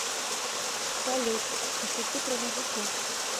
салют пошути про мужиков